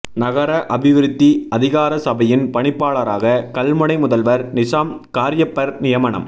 நகர அபிவிருத்தி அதிகார சபையின் பணிப்பாளராக கல்முனை முதல்வர் நிஸாம் காரியப்பர் நியமனம்